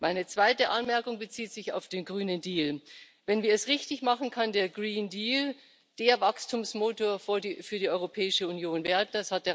Meine zweite Anmerkung bezieht sich auf den Grünen Deal Wenn wir es richtig machen, kann der Green Deal der Wachstumsmotor für die Europäische Union werden.